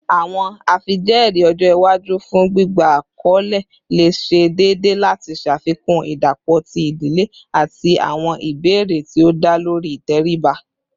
Awọn afijẹẹri ọjọ iwaju fun gbigba akọle le ṣe deede lati ṣafikun idapọ ti idile ati awọn ibeere ti o da lori iteriba